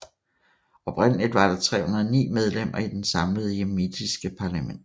Oprindeligt var der 309 medlemmer i det samlede yemenitiske parlament